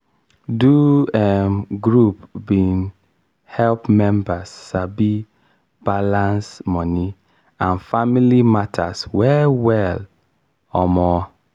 do um group bin help mebers sabi balance moni and family matters well well. um